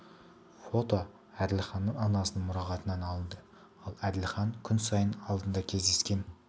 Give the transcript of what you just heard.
фото әділханның анасының мұрағатынан алынды фото әділханның анасының мұрағатынан алынды ал әділхан күн сайын алдында кездескен